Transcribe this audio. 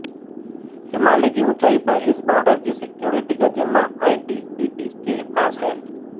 हिमालय की ऊंचाई पर इस बॉर्डर की सिक्योरिटी का जिम्मा आईटीबीपी के पास है